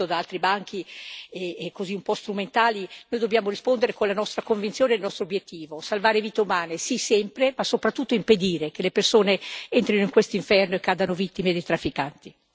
Ma di fronte a queste critiche, alcune gratuite, che ho sentito da altri banchi, e un po' strumentali, noi dobbiamo rispondere con la nostra convinzione e il nostro obiettivo salvare vite umane, sì sempre, ma, soprattutto, impedire che le persone entrino in quest'inferno e cadano vittime dei trafficanti.